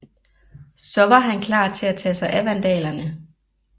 Så var han klar til at tage sig af vandalerne